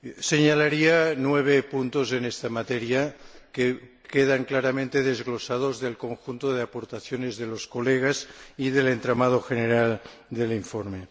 Señalaría nueve puntos en esta materia que quedan claramente desglosados del conjunto de aportaciones de los colegas y del entramado general del informe.